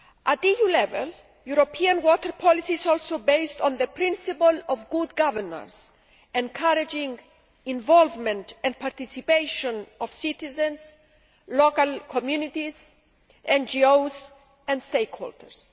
At EU level, European water policy is also based on the principle of good governance, encouraging the involvement and participation of citizens, local communities, NGOs and stakeholders.